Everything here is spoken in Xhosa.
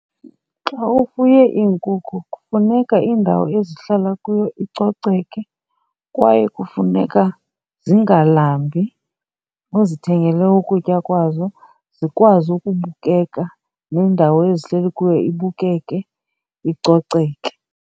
Xa ufuye iinkukhu kufuneka indawo ezihlala kuyo icoceke kwaye kufuneka zingalambi, uzithengele ukutya kwazo zikwazi ukubukeka nendawo ezihleli kuyo ibukeke, icoceke.